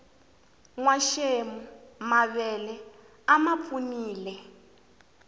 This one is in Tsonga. nwaxemu mavele a mapfunile